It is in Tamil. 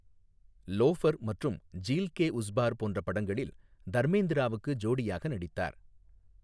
லோஃபர் மற்றும் ஜீல் கே உஸ் பார் போன்ற படங்களில் தர்மேந்திராவுக்கு ஜோடியாக நடித்தார்.